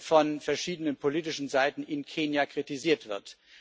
von verschiedenen politischen Seiten in Kenia kritisiert wird.